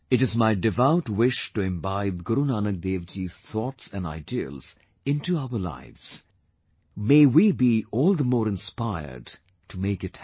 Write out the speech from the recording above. It's my devout wish to imbibe Guru Nanak Dev Ji's thoughts and ideals into our lives; may we be all the more inspired to make it happen